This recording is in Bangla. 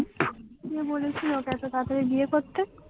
কে বলেছিল ওকে এত তাড়াতাড়ি বিয়ে করতে?